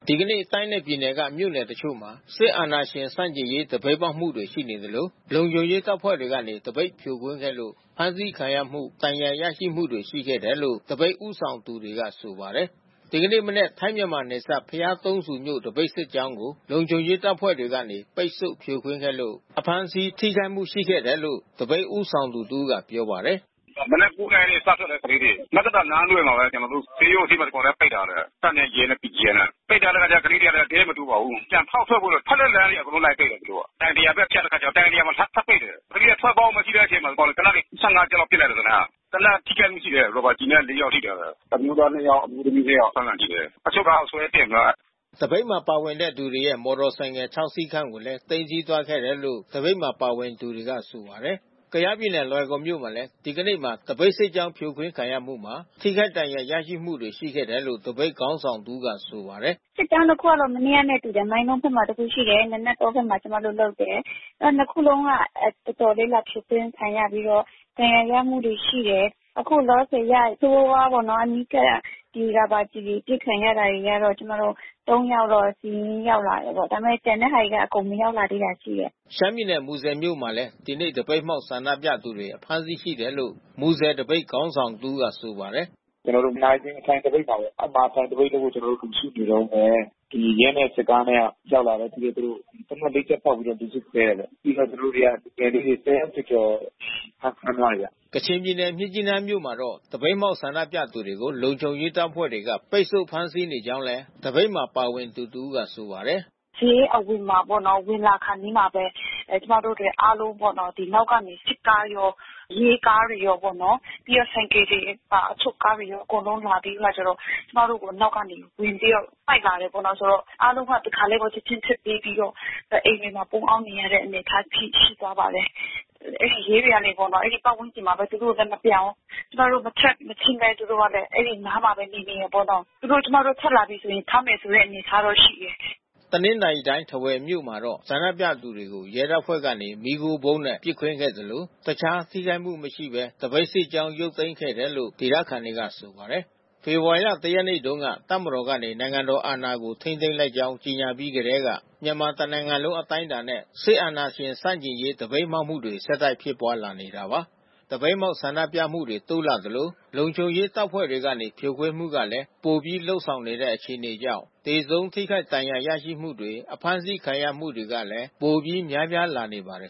ဒီကနေ့ တိုင်းနဲ့ ပြည်နယ်တွေက မြို့နယ်တချို့မှာ စစ်အာဏာရှင်ဆန့်ကျင်ရေး သပိတ်မှောက်မှုတွေ ရှိနေသလို လုံခြုံရေးတပ်ဖွဲ့တွေကနေ သပိတ်ဖြိုခွင်းခဲ့လို့ ဖမ်းဆီးခံရမှု ဒဏ်ရာရရှိမှုတွေ ရှိခဲ့တယ်လို့ သပိတ်ဦးဆောင်သူတွေက ဆိုပါတယ်။ ဒီကနေ့ မနက် ထိုင်းမြန်မာနယ်စပ် ဘုရားသုံးဆူမြို့ သပိတ်စစ်ကြောင်းကို လုံခြုံရေးတပ်ဖွဲ့တွေကနေ ပိတ်ဆို့ဖြိုခွင်းခဲ့လို့ အဖမ်းဆီး ထိခိုက်မှု ရှိခဲ့တယ်လို့ သပိတ်ဦးဆောင်သူတဦးကပြောပါတယ်။ “မနက် ၉ နာရီက စထွက်တယ်။ ကလေးတွေ မဲကသာလမ်းသွယ်မှာပဲ ကျနော်တို့ ဆေးရုံအထိပဲ ဒီကောင်တွေက ပိတ်ထားတယ်။ တပ်နဲ့ ရဲနဲ့ BGF နဲ့။ ပိတ်ထားတဲ့အခါကျတော့ကလေးတွေလဲ အထဲမတိုးပါဘူး။ ပြန်ဖောက်ထွက်ဖို့ပဲ။ ထွက်တဲ့လမ်းအကုန်လုံး လိုက်ပိတ်တယ်သူတို့က။ တိုင်တရာဘက်ဖြတ်တဲ့အခါကျတော့ တိုင်တရာမှာ ထပ်ပိတ်တယ်။ ကလေးတွေ ထွက်ပေါက်မရှိတဲ့အချိန်မှာ ဒီကောင်တွေ သေနတ်တွေ ၁၅ ချက်ပစ်လိုက်တယ်သေနတ်။ သေနတ်ထိခိုက်မှု ရှိတယ်။ ရာဘာကျည်နဲ့ ၄ ယောက်ထိထားတယ်။ အမျိုးးသား ၂ ယောက်၊ အမျိုးသမီး ၂ ယောက် အဖမ်းခံထိတယ်။ အချုပ်ကားထဲ ဆွဲတင်ထားတယ်။" သပိတ်မှာပါဝင်တဲ့ သူတွေရဲ့မော်တော်ဆိုင်ကယ်စီး ခြောက်စီးခန့်ကိုလည်း သိမ်းဆည်းသွားတယ်လို့ သပိတ်မှာပါဝင်တဲ့သူတွေကပြောပါတယ်။ ကယားပြည်နယ်လွိုင်ကော်မြို့မှာလည်း ဒီကနေ့မှာ သပိတ်စစ်ကြောင်း ဖြိုခွင်းခံရမှုမှာ ထိခိုက်ဒဏ်ရာရရှိမှုတွေ ရှိတယ်လို့ သပိတ်ခေါင်းဆောင်တဦးကဆိုပါတယ်။ “စစ်ကြောင်းနှစ်ခုကတော့ မနေ့ကနဲ့ တူတယ်။ မိုင်းလုံးဘက်မှာ တခုရှိတယ်။ နာနတ်တောဘက်မှာ ကျမတို့ လုပ်တယ်။ နှစ်ခုလုံးက ကျမတို့ တော်တော်လေးဖြိုခွင်းခံရပြီးတော့ ဒဏ်ရာရမှုတွေရှိတယ်။ အခုလောလောဆယ်အရ ဆိုးဆိုးဝါးဝါးပေါ့နော်။ ဒီရာဘာကျည်တွေအပစ်ခံရတာတွေကတော့ ကျမတို့ ၃ ယောက်လောက် စာရင်းရောက်လာတယ်ပေါ့။ ဒါပေမဲ့ ကျန်တဲ့ဟာတွေက အကုန် မရောက်လာသေးတာရှိတယ်။” ရှမ်းပြည်နယ် မူဆယ်မြို့မှာလည်း ဒီကနေ့ သပိတ်မှောက်ဆန္ဒပြသူတွေ အဖမ်းဆီးရှိတယ်လို့ မူဆယ်သပိတ်ခေါင်းဆောင် တဦးကဆိုပါတယ်။ “ကျနော်တို့ နာရီစင်ထိုင်သပိတ်မှာပေါ့။ အဲဒီမှာ ထိုင်သပိတ်လုပ်ဖို့ ကျနော်တို့ လူစုနေတုန်းပဲ ဒီရဲနဲ့ စစ်သားနဲ့ ရောက်လာတယ်။ ပြီးတော့ သူတို့ သေနတ် ၄ ချက်ဖောက်ပြီးတော့ လူစုခွဲတယ်ပေါ့။ ပြီးတော့သူတို့က လူငယ်လေးတွေ ၁၀ ယောက်ကျော်ကျော် ဖမ်းထားတယ်ဗျ။” ကချင်ပြည်နယ် မြစ်ကြီးနားမြို့မှာတော့ သပိတ်မှောက်ဆန္ဒပြသူတွေကို လုံခြုံရေးတပ်ဖွဲ့တွေက ပိတ်ဆို့ဖမ်းဆီးနေကြောင်းလည်း သပိတ်မှာ ပါဝင်သူ တဦးကဆိုပါတယ်။ “ဈေးအဝင်မှာပေါ့နော်။ ဝင်လာခါနီးမှာပဲ ကျမတို့တတွေအားလုံးပေါ့နော်။ နောက်ကနေ စစ်ကားရော၊ ရဲကားတွေ ရောပေါ့နော်။ အချုပ်ကားတွေရော အကုန်လုံး လာပြီးအခါကျတော့ ကျမတို့ကို နောက်ကနေ ဝင်ပြီးတော့ လိုက်လာတယ်ပေါ့နော်။ အားလုံးက တခါတည်းကို ချက်ချင်းထွက်ပြေးပြီးတော့ အိမ်တွေမှာ ပုန်းအောင်းနေရတဲ့အနေအထား အဖြစ်ရှိသွားပါတယ်။ အဲဒီရဲတွေကလည်း အဲဒီပတ်ဝန်းကျင်မှာပဲ သူတို့လည်း မပြန်ဘူး။ ကျမတို့ မထွက်မချင်းဘဲ သူတို့ကလည်း အဲဒီနားမှာပဲ နေနေတာပေါ့။ ကျမတို့ ထွက်လာပြီးဆိုရင် ဖမ်းမယ်ဆိုတဲ့ အနေထားတော့ရှိတယ်။” တနင်္သာရီတိုင်း ထားဝယ်မြို့မှာတော့ ဆန္ဒပြသူတွေကို ရဲတပ်ဖွဲ့ကနေ မီးခိုးဗုံးနဲ့ပစ်ခွင်းခဲ့သလို တခြားထိခိုက်မှု မရှိဘဲ သပိတ်စစ်ကြောင်း ရုပ်သိမ်းခဲ့တယ်လို့ ဒေသခံတွေကဆိုပါတယ်။ ဖေဖော်ဝါရီ ၁ ရက်နေ့တုန်းက တပ်မတော်ကနေ နိုင်ငံတော်အာဏာကို ထိန်းသိမ်းလိုက်ကြောင်း ကြေညာပြီးကတည်းက မြန်မာတနိုင်လုံးအတိုင်းတာနဲ့ စစ်အာဏာရှင်ဆန့်ကျင်ရေးသပိတ်မှောက်မှုတွေ ဆက်တိုက်ဖြစ်ပွါးလာနေတာပါ။ သပိတ်မှောက်ဆန္ဒပြမှုတွေ တိုးလာသလို လုံခြုံရေးတပ်ဖွဲ့တွေကနေ ဖြိုခွင်းမှုကလည်း ပိုပြီးလုပ်ဆောင်နေတဲ့ အခြေအနေကြောင့် သေဆုံးထိခိုက်ဒဏ်ရာရမှုတွေ၊ အဖမ်းဆီးခံရမှုတွေကလည်း ပိုပြီးများပြားလာနေပါတယ်